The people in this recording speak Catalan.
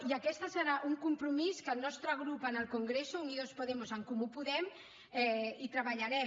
i aquest serà un compromís que el nostre grup en el congreso unidos podemos en comú podem hi treballarem